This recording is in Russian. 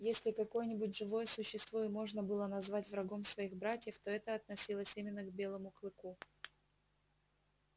если какое-нибудь живое существо и можно было назвать врагом своих собратьев то это относилось именно к белому клыку